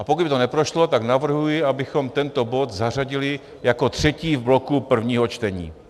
A pokud by to neprošlo, tak navrhuji, abychom tento bod zařadili jako třetí v bloku prvních čtení.